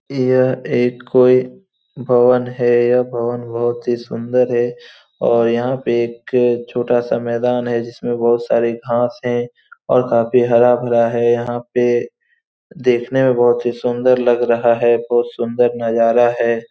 यह एक कोई भवन है। यह भवन बोहोत सुंदर है और यहाँ पर एक अ छोटा सा मैदान है जिसमे बोहोत सारे घास है और काफी हरा-भरा है । यहाँ पे देखने में बोहोत ही सुंदर लग रहा है । बोहोत सुंदर नजारा है ।